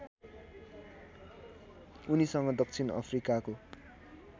उनीसँग दक्षिण अफ्रिकाको